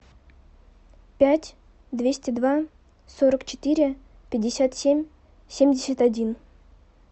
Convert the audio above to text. пять двести два сорок четыре пятьдесят семь семьдесят один